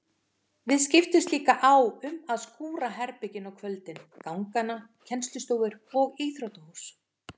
Við skiptumst líka á um að skúra herbergin á kvöldin, gangana, kennslustofur og íþróttahús.